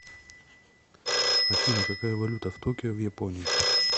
афина какая валюта в токио в японии